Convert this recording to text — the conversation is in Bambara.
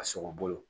A sogo bolo